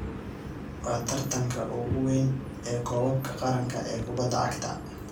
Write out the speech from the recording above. Waa tartanka ugu weyn ee koobka qaranka ee kubada cagta.